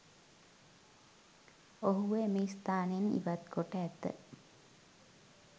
ඔහුව එම ස්ථානයෙන් ඉවත්කොට ඇත